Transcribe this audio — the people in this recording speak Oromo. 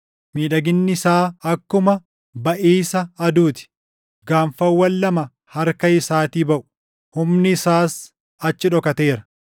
Miidhaginni isaa akkuma baʼiisa aduu ti; gaanfawwan lama harka isaatii baʼu; humni isaas achi dhokateera.